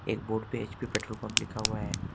एक board page पर petrol pump लिखा हुआ है।